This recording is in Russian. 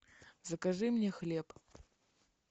закажи мне хлеб